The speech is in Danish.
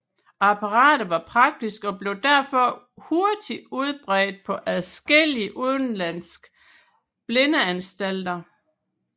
Apparatet var praktisk og blev derfor hurtigt udbredt på adskillige udenlandske blindeanstalter